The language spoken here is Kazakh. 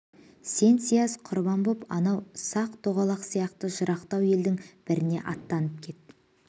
сен сияз құрған боп анау сақ-тоғалақ сияқты жырақтау елдің біріне аттанып кет